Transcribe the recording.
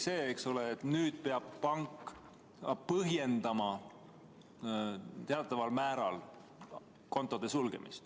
Muutus see, eks ole, et nüüd peab pank kontode sulgemist teataval määral ka põhjendama.